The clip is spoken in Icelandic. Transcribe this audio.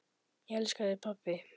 Ég elska þig, pabbi.